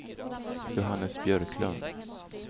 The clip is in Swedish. Johannes Björklund